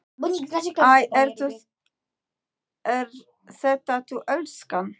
Æ, ert þetta þú elskan?